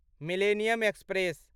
millennium express